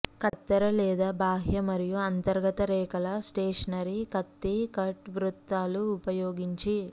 కత్తెర లేదా బాహ్య మరియు అంతర్గత రేఖల స్టేషనరీ కత్తి కట్ వృత్తాలు ఉపయోగించి